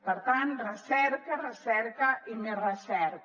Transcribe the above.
per tant recerca recerca i més recerca